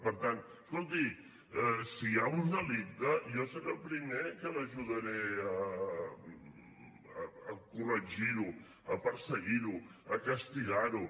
per tant escolti si hi ha un delicte jo seré el primer que l’ajudaré a corregir ho a perseguir ho a castigar ho